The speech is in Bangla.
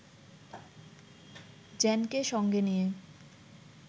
জেনকে সঙ্গে নিয়ে